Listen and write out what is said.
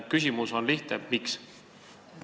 Küsimus on lihtne: miks te ei toeta?